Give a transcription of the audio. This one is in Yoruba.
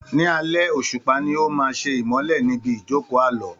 Ní alẹ́, òṣùpá ni ó máa ṣe ìmọ́lẹ̀ níbi ìjóòkó Àlọ́.